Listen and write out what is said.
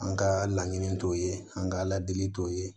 An ka laɲini t'o ye an ka ala deli t'o ye